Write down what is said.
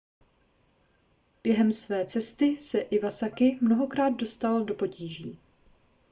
během své cesty se iwasaki mnohokrát dostal do potíží